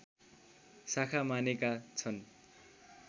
शाखा मानेका छन्